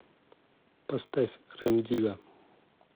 поставь рем дигга